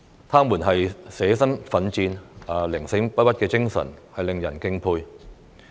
他們捨身奮戰、寧死不屈的精神，令人敬佩。